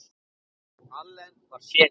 Allen var séní.